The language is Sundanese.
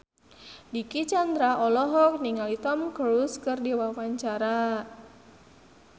Dicky Chandra olohok ningali Tom Cruise keur diwawancara